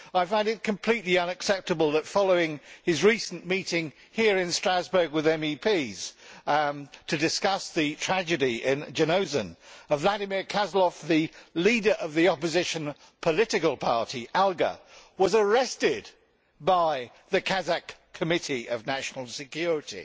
I find it completely unacceptable that, following his recent meeting here in Strasbourg with MEPs to discuss the tragedy in Zhanaozen, Vladimir Kozlov, the leader of the opposition political party Alga, was arrested by the Kazakh Committee of National Security